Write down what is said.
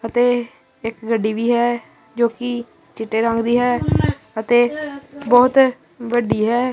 ਅਤੇ ਇੱਕ ਗੱਡੀ ਵੀ ਹੈ ਜੋ ਕਿ ਚਿੱਟੇ ਰੰਗ ਦੀ ਹੈ ਅਤੇ ਬਹੁਤ ਵੱਡੀ ਹੈ।